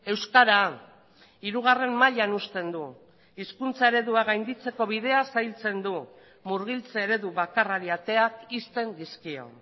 euskara hirugarren mailan uzten du hizkuntza eredua gainditzeko bidea zailtzen du murgiltze eredu bakarrari ateak ixten dizkio